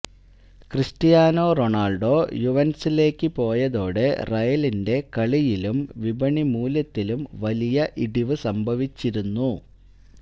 Cristiano Ronaldo യുവന്റസിലേക്ക് പോയതോടെ റയലിന്റെ കളിയിലും വിപണിമൂല്യത്തിലും വലിയ ഇടിവു സംഭവിച്ചിരുന്നു